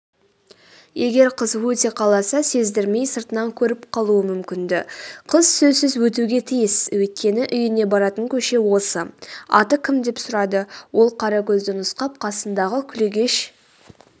егер қыз өте қалса сездірмей сыртынан көріп қалуы мүмкін-ді қыз сөзсіз өтуге тиіс өйткені үйіне баратын көше осы.аты кім деп сұрады ол қаракөзді нұсқап қасындағы күлегеш